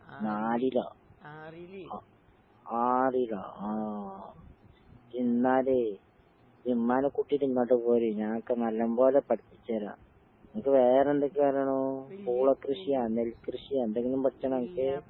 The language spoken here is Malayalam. നാലിലാ? അ ആറിലാ? ആഹ് എന്നാലേ ഇമ്മാനെക്കൂട്ടീട്ട് ഇങ്ങട്ട് പോര്. ഞാനക്ക് നല്ലം പോലെ പഠിപ്പിച്ചരാം. നിനക്ക് വേറെന്തൊക്കെയറിയണോ പൂള കൃഷിയാ, നെൽ കൃഷിയാ എന്തെങ്കിലും പഠിച്ചണാനക്ക്?